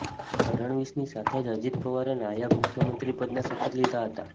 ફડણવીસની સાથે જ અજીત પવારે નાયબ મુખ્યમંત્રી પદના શપથ લીધા હતા